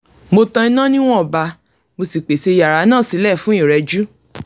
mo tan iná níwọ̀nba mo sì pèsè yàrá náà sílẹ̀ fún ìrẹjú